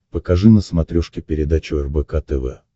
покажи на смотрешке передачу рбк тв